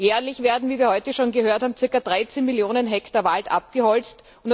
Jährlich werden, wie wir heute schon gehört haben, circa 13 Millionen Hektar Wald abgeholzt.